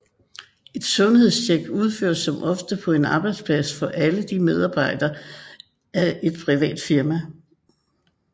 Et sundhedstjek udføres som oftest på en arbejdsplads for alle medarbejdere af et privat firma